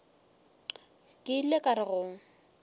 ke ile ka re go